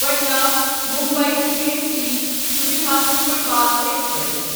Patna Mumbai C S T Suvidha superfast express